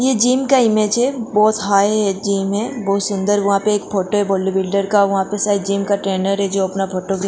ये जीम का इमेज है बहुत हाई जीम है बहुत सूंदर वहां पे एक वहा पे शायद जीम का ट्रेनर है जो अपना फोटो --